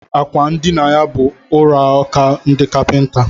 Àkwà ndina ya bụ ọrụaka ndị kapinta